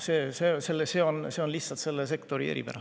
See on lihtsalt selle sektori eripära.